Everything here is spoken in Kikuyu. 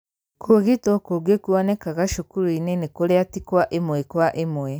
kũũgitwo kũngĩ kuonekaga cukuru-inĩ nĩ kũrĩa ti wa ĩmwe kwa ĩmwe.